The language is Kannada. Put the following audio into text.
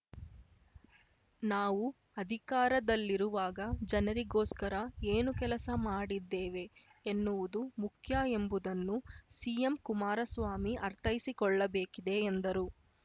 ನಾವು ಅಧಿಕಾರದಲ್ಲಿರುವಾಗ ಜನರಿಗೋಸ್ಕರ ಏನು ಕೆಲಸ ಮಾಡಿದ್ದೇವೆ ಎನ್ನುವುದು ಮುಖ್ಯ ಎಂಬುದನ್ನು ಸಿಎಂ ಕುಮಾರಸ್ವಾಮಿ ಅರ್ಥೈಸಿಕೊಳ್ಳಬೇಕಿದೆ ಎಂದರು